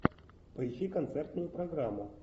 поищи концертную программу